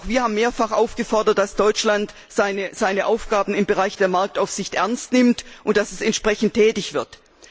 Und auch wir haben mehrfach gefordert, dass Deutschland seine Aufgaben im Bereich der Marktaufsicht ernst nimmt und dass es entsprechend tätig wird.